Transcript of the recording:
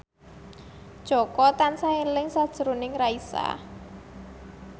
Jaka tansah eling sakjroning Raisa